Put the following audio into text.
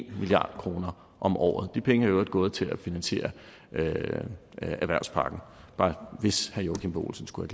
milliard kroner om året de penge er i øvrigt gået til at finansiere erhvervspakken hvis herre joachim b olsen skulle